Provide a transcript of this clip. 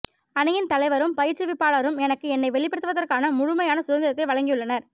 அணியின் தலைவரும் பயிற்றுவிப்பாளரும் எனக்கு என்னை வெளிப்படுத்துவதற்கான முழுமையான சுதந்திரத்தை வழங்கியுள்ளனர்